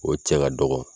O cɛ ka dɔgɔ